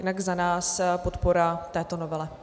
Jinak za nás podpora této novele.